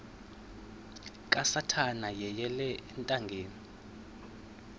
kasathana yeyele ethangeni